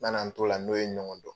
Nana n t'o la, n'o ye ɲɔgɔn dɔn